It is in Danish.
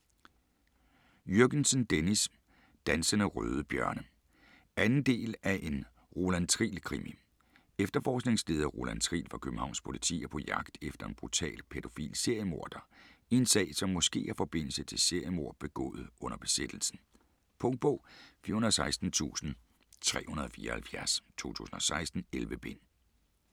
Jürgensen, Dennis: Dansende røde bjørne 2. del af En Roland Triel krimi. Efterforskningsleder Roland Triel fra Københavns politi er på jagt efter en brutal pædofil seriemorder i en sag som måske har forbindelse til seriemord begået under besættelsen. Punktbog 416374 2016. 11 bind.